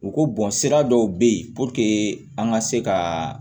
U ko bɔn sira dɔw be ye puruke an ŋa se ka